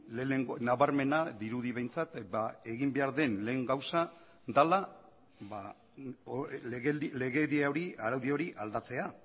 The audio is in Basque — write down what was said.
lehenengo nabarmena dirudi behintzat egin behar den lehen gauza dela legedia hori araudi hori aldatzea